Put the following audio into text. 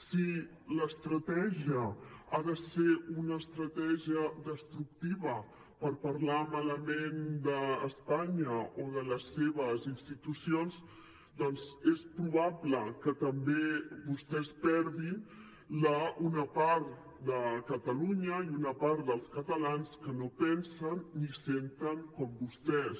si l’estratègia ha de ser una estratègia destructiva per parlar malament d’espanya o de les seves institucions doncs és probable que també vostès perdin una part de catalunya i una part dels catalans que no pensen ni senten com vostès